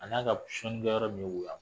A na ka sun do yɔrɔ min